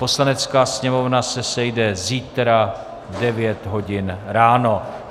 Poslanecká sněmovna se sejde zítra v 9.00 hodin ráno.